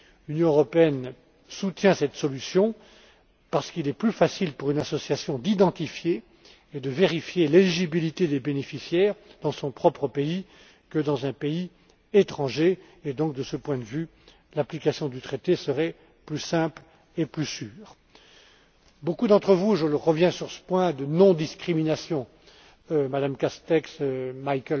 pays. L'Union européenne soutient cette solution parce qu'il est plus facile pour une association d'identifier et de vérifier l'éligibilité des bénéficiaires dans son propre pays que dans un pays étranger et, donc, de ce point de vue, l'application du traité serait plus simple et plus sûre. Je reviens à présent sur la question de la non discrimination, que beaucoup ont évoquée, dont Mme Castex